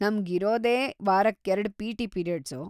ನಮ್ಗ್ ಇರೋದೇ ವಾರಕ್ಕೆರ್ಡ್ ಪಿ.ಟಿ. ಪೀರಿಯಡ್ಸು.